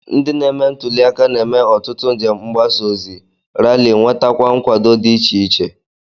Ndị na-eme ntụli aka na-eme ọtụtụ njem mgbasaozi, rali, nwetakwa nkwado dị iche iche